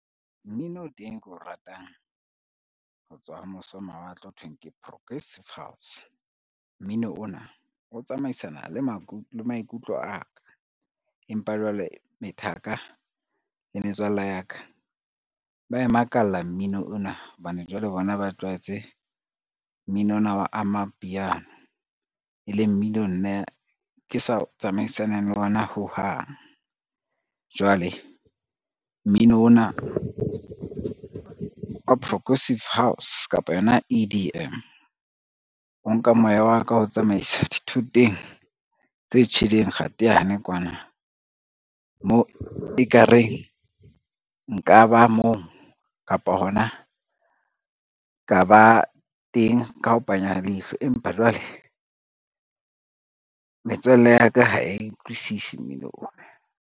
Mmino o teng ke o ratang ho tswa ho mose ho mawatle, ho thweng ke progressive house. Mmino ona o tsamaisana le maikutlo a ka, empa jwale methaka le metswalle ya ka, ba e makalla mmino ona hobane jwale bona ba tlwaetse mmino ona wa amapiano e leng mmino nna ke sa tsamaisaneng le ona ho hang, jwale mmino ona wa progressive house kapo yona E_D_M, o nka moya wa ka o tsamaisa dithoteng tse tjheleng kgateyane kwana, moo e ka reng nka ba moo kapa hona ka ba teng ka ho panya ha leihlo. Empa jwale metswalle ya ka ha e utlwisisi mmino ona.